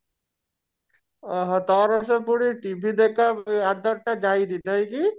ଅ ହଁ ତାର ସେ ପୁଣି TV ଦେଖା ଆଦତ ଟା ଯାଇନି ନାଇଁ କି